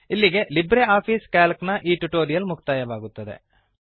ಇಲ್ಲಿಗೆ LibreOffice C A L C ನ ಈ ಟ್ಯುಟೋರಿಯಲ್ ಮುಕ್ತಾಯವಾಗುತ್ತದೆ